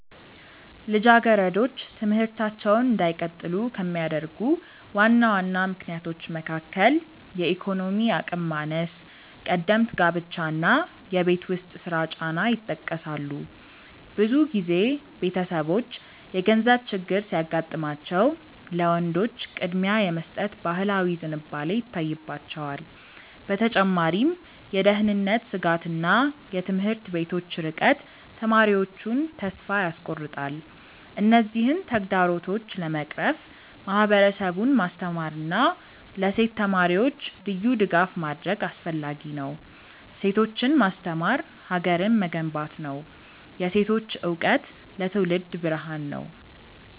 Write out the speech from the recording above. ልጃገረዶች ትምህርታቸውን እንዳይቀጥሉ ከሚያደርጉ ዋና ዋና ምክንያቶች መካከል የኢኮኖሚ አቅም ማነስ፣ ቀደምት ጋብቻ እና የቤት ውስጥ ስራ ጫና ይጠቀሳሉ። ብዙ ጊዜ ቤተሰቦች የገንዘብ ችግር ሲያጋጥማቸው ለወንዶች ቅድሚያ የመስጠት ባህላዊ ዝንባሌ ይታይባቸዋል። በተጨማሪም የደህንነት ስጋትና የትምህርት ቤቶች ርቀት ተማሪዎቹን ተስፋ ያስቆርጣል። እነዚህን ተግዳሮቶች ለመቅረፍ ማህበረሰቡን ማስተማርና ለሴት ተማሪዎች ልዩ ድጋፍ ማድረግ አስፈላጊ ነው። ሴቶችን ማስተማር ሀገርን መገንባት ነው። የሴቶች እውቀት ለትውልድ ብርሃን ነው።